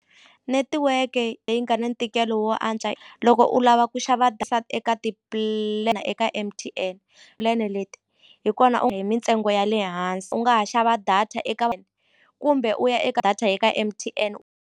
Netiweke leyi nga na ntikelo wo antswa loko u lava ku xava eka eka M_T_N plan-e leti hi kona hi mintsengo ya le hansi u nga ha xava data eka kumbe u ya eka data eka M_T_N.